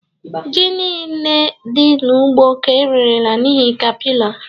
Ji niile dị n'ugbo ka ererela n'ihi capillar